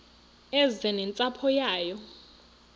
eze nentsapho yayo